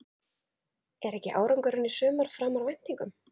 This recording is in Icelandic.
Er ekki árangurinn í sumar framar væntingum?